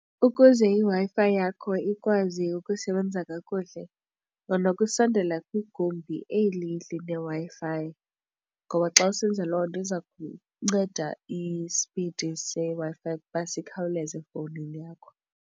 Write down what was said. Ukuze iWi-Fi yakho ikwazi ukusebenza kakuhle zama ukusondela kwigumbi eli lineWi-Fi, ngoba xa usenza loo nto iza kunceda isipidi seWi-Fi ukuba sikhawuleze efowunini yakho.